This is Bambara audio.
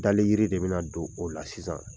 Daliyiri de bɛna don o la sisan.